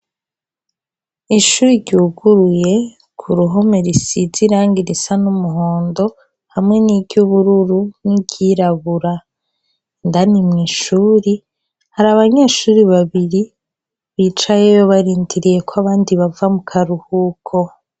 ishuri ryuguruye ku ruhome risize irangi irisa n'umuhondo hamwe n'iry'ubururu n'ibyirabura indani mu ishuri hari abanyeshuri babiri bicayeyo barindiriye ko abandi bava mu karuhuko